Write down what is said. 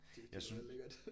Det det lyder da lækkert